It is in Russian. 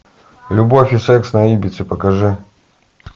любовь и секс на ибице покажи